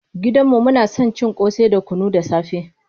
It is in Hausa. Gidan mu muna son cin ƙosai da kunu da safe.